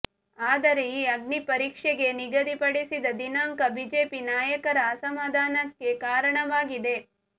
ಆದರೆ ಈ ಅಗ್ನಿಪರೀಕ್ಷೆಗೆ ನಿಗದಿಪಡಿಸಿದ ದಿನಾಂಕ ಬಿಜೆಪಿ ನಾಯಕರ ಅಸಮಾಧಾನಕ್ಕೆ ಕಾರಣವಾಗಿದೆ